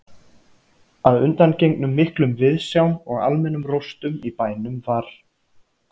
Að undangengnum miklum viðsjám og almennum róstum í bænum var